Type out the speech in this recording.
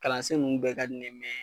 Kalansen ninnu bɛɛ ka ni ne be